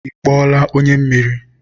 Ị kpọọla onye mmiri?